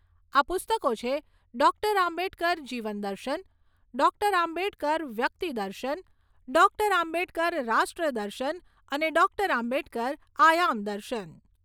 આ પુસ્તકો છે ડોક્ટર આંબેડકર જીવન દર્શન, ડોક્ટર આંબેડકર વ્યક્તિ દર્શન, ડોક્ટર આંબેડકર રાષ્ટ્ર દર્શન અને ડોક્ટર આંબેડકર આયામ દર્શન.